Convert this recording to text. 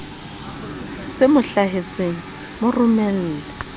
se mo hlahetseng mo romelle